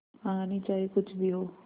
कहानी चाहे कुछ भी हो